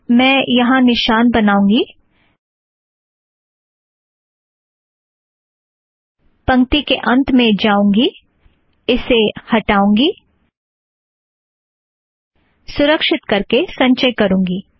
मैं यहाँ निशान बनाऊँगी पंक्ति के अंत में जाऊँगी इसे हटाऊँगी सुरक्षीत करके संचय करूँगी